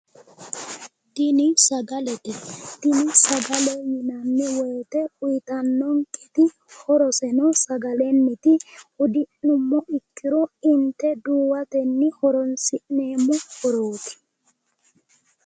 tini sagalete, tini sagale yinanni woyte uytannonketi horo sagelenniti hudi'nummoha ikkiro inte duuwatenni horonsi'neemmo horoti